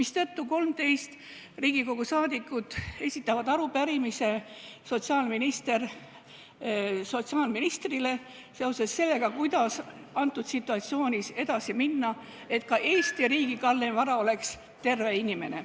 Seetõttu 13 Riigikogu liiget esitavad sotsiaalministrile arupärimise, kuidas selles situatsioonis edasi minna, et oleks ka Eesti riigis kalleim vara terve inimene.